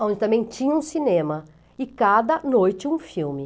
onde também tinha um cinema e cada noite um filme.